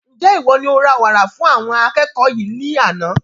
Njẹ iwọ ní o ra wàrà fún àwọn akẹ́kọ̀ọ́ yìí ní àna?